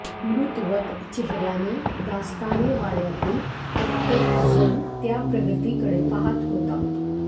मृतवत चेहर्याने दास्ताने वाड्यातील प्रत्येक जण त्या प्रगतीकडे पाहात होता